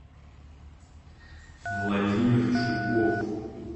владимир чулков